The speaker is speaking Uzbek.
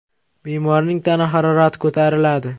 Bemorning tana harorati ko‘tariladi.